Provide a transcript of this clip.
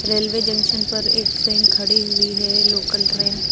Railway junction पर एक train खड़ी हुई है लोकल ट्रेन ।